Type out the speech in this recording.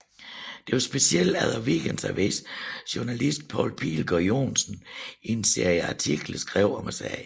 Det var specielt efter Weekendavisens journalist Poul Pilgaard Johnsen i en serie artikler skrev om sagen